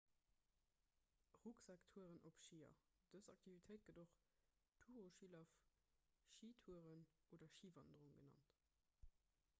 rucksaktouren op schier dës aktivitéit gëtt och toureschilaf schitouren oder schiwanderung genannt